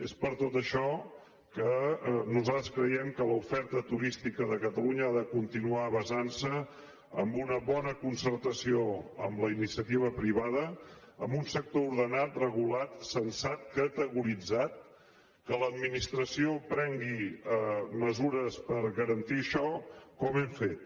és per tot això que nosaltres creiem que l’oferta turística de catalunya ha de continuar basantse en una bona concertació amb la iniciativa privada amb un sector ordenat regulat censat categoritzat que l’administració prengui mesures per garantir això com hem fet